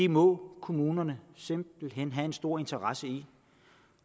må kommunerne simpelt hen have en stor interesse i